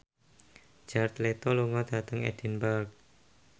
Jared Leto lunga dhateng Edinburgh